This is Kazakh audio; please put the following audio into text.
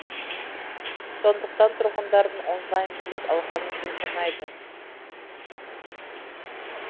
сондықтан тұрғындардың онлайн билет алғанын жөн санайды